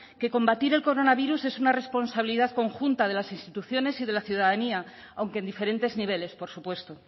que combatir el coronavirus es una responsabilidad conjunta de las instituciones y de la ciudadanía aunque en diferentes niveles por supuesto